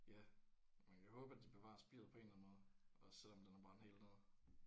Ja man kan håbe at de bevarer spiret på en eller anden måde også selvom den er brændt helt ned